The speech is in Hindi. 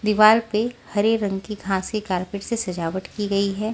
दीवाल पे हरे रंग की घासी कारपेट से सजावट की गई है।